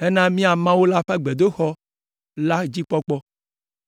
hena mía Mawu la ƒe gbedoxɔ la dzikpɔkpɔ,